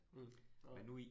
Mh, nåh